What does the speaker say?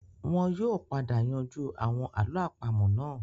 Wọn yóò padà yanjú àwọn àlọ́ àpamọ́ náà